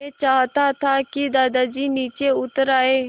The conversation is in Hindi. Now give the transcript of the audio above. मैं चाहता था कि दादाजी नीचे उतर आएँ